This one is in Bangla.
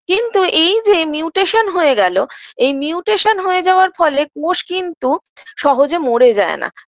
কিন্তু এই যে mutation হয়ে গেল mutation হয়ে যাওয়ার ফলে কোষ কিন্তু সহজে মরে যায় না